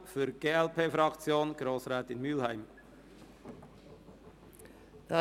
Für die glp-Fraktion hat Grossrätin Mühlheim das Wort.